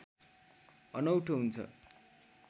अनौठो हुन्छ